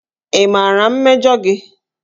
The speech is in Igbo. Ị maara mmejọ gị?